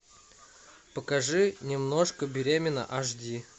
покажи немножко беременна аш ди